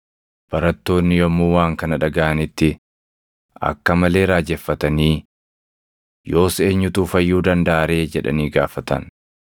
Barattoonni yommuu waan kana dhagaʼanitti akka malee raajeffatanii, “Yoos eenyutu fayyuu dandaʼa ree?” jedhanii gaafatan.